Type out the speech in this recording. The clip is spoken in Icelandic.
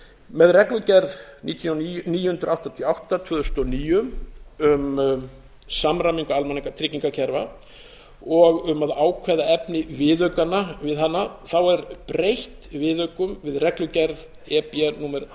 með reglugerð níu hundruð áttatíu og átta tvö þúsund og níu e b um samræmingu almannatryggingakerfa og um að ákveða efni viðaukanna við hana þá er breytt viðaukum við reglugerð e b númer